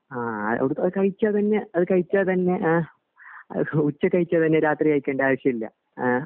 ആഹ് അവിടത്തെ അത് കഴിച്ചാ തന്നെ അത് കഴിച്ചാ തന്നെ അഹ് അത് ഉച്ചക് കഴിച്ചാ തന്നെ രാത്രി കഴിക്കണ്ട ആവിശ്യം ഇല്ല ആഹ്